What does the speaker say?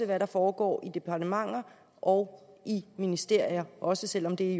hvad der foregår i departementer og i ministerier også selv om det